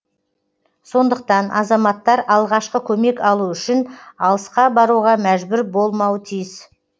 сондықтан азаматтар алғашқы көмек алу үшін алысқа баруға мәжбүр болмауы тиіс